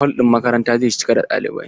Hol ɗin makarantan zai cika da ɗalibai.